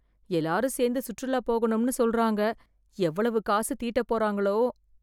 எல்லாரும் சேர்ந்து சுற்றுலா போகணும்னு சொல்றாங்க எவ்வளவு காசு தீட்ட போறாங்களோ